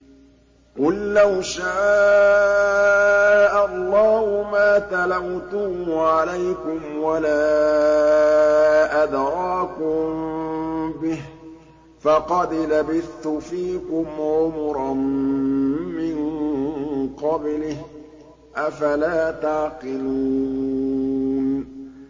قُل لَّوْ شَاءَ اللَّهُ مَا تَلَوْتُهُ عَلَيْكُمْ وَلَا أَدْرَاكُم بِهِ ۖ فَقَدْ لَبِثْتُ فِيكُمْ عُمُرًا مِّن قَبْلِهِ ۚ أَفَلَا تَعْقِلُونَ